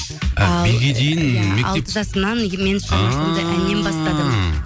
і биге дейін иә алты жасымнан мен шығармашылығымды әнмен бастадым